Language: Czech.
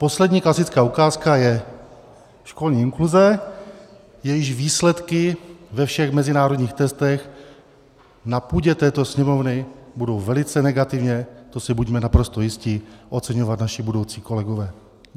Poslední klasická ukázka je školní inkluze, jejíž výsledky ve všech mezinárodních testech na půdě této Sněmovny budou velice negativně, to si buďme naprosto jisti, oceňovat naši budoucí kolegové.